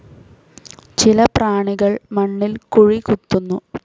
ചില പ്രാണികൾ മണ്ണിൽ കുഴി കുത്തുന്നു.